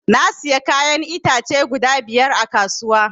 Na siya kayan itace guda biyar a kasuwa